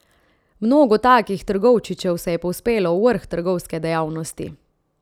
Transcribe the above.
Mnogo takih trgovčičev se je povzpelo v vrh trgovske dejavnosti.